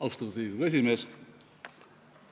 Austatud Riigikogu esimees!